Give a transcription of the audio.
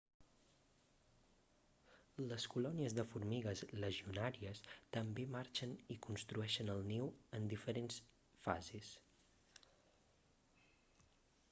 les colònies de formigues legionàries també marxen i construeixen el niu en diferents fases